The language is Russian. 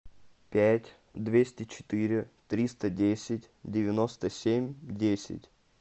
пять двести четыре триста десять девяносто семь десять